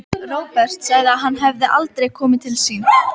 Róbert sagði að hann hefði aldrei komið til sín.